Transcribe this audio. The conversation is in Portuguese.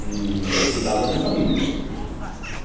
e cuidava da minha família.